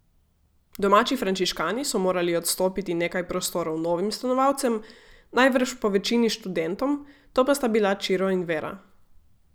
Domači frančiškani so morali odstopiti nekaj prostorov novim stanovalcem, najbrž povečini študentom, to pa sta bila Čiro in Vera.